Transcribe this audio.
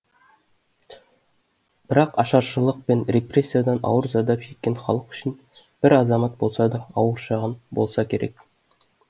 бірақ ашаршылық пен репрессиядан ауыр зардап шеккен халық үшін бір азамат болса да ауыр шығын болса керек